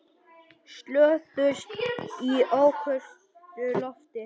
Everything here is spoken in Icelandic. Slösuðust í ókyrru lofti